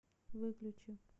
выключи